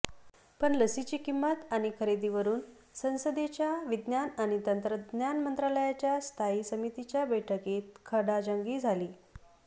पण लसीची किंमत आणि खरेदीवरून संसदेच्या विज्ञान आणि तंत्रज्ञान मंत्रालयाच्या स्थायी समितीच्या बैठकीत खडाजंगी झाली